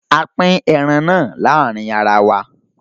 A pín ẹran náà láàrin ara wa